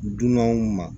Dunanw ma